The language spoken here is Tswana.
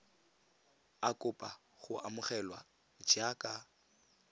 a kopa go amogelwa jaaka